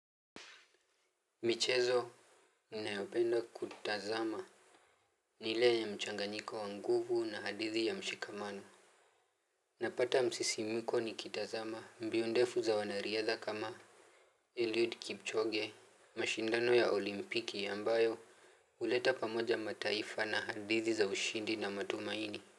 Michezo ninayopenda kutazama ni ile ya mchanganyiko wa nguvu na hadithi ya mshikamano. Napata msisimiko nikitazama mbio ndefu za wanariadha kama Eliud Kipchoge. Mashindano ya olimpiki ambayo huleta pamoja mataifa na hadithi za ushindi na matumaini.